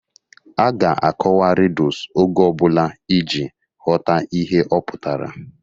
A ga-akọwa ridus oge ọbụla iji ghọta ihe ọ pụtara